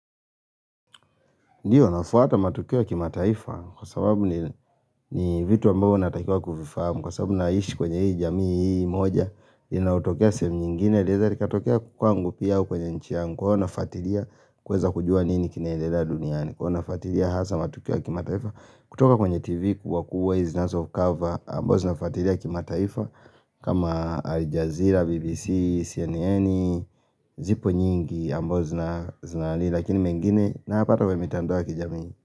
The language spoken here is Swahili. Ndio, nafuata matukio ya kimataifa, kwa sababu ni vitu ambao unatakiwa kufifahamu, kwa sababu naishi kwenye hii jamii hii moja, inaotokea sehemu nyingine, leza likatokea kwangu pia au kwenye nchi yangu, kwa hivyo nafwatilia kweza kujua nini kinaendelea duniani, huwa nafuatilia hasa matukio ya kimataifa, kutoka kwenye tv kwa kuwa hizi zinazocover, amazo nafuatalia kimataifa, kama alijazira, bbc, cnn, zipo nyingi, ambazo zinali, Lakini mengine, napata mimi kwenye mitandoa ya kijami.